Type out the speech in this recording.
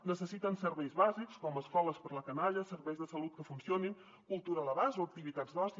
necessiten serveis bàsics com escoles per a la canalla serveis de salut que funcionin cultura a l’abast o activitats d’oci